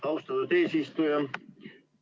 Austatud eesistuja!